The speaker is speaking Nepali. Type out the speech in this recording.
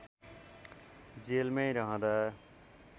जेलमै रहँदा